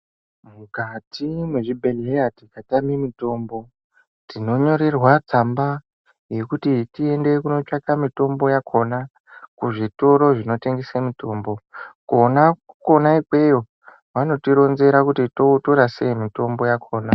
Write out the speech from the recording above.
Mukati mezvibhedhlera tikatame mitombo tinonyorerwa tsamba yekuti tiende kunotsvake mitombo yakhona kuzvitoro zvinotengesa mitombo kona, kona ikweyo vanotironzera kuti totora sei mitombo yakhona.